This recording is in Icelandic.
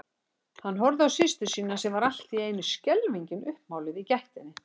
Horfði á systur sína sem var allt í einu skelfingin uppmáluð í gættinni.